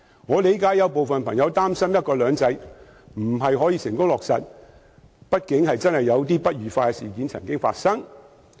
我理解有人擔心"一國兩制"未能成功落實，畢竟不愉快的事情曾經發生。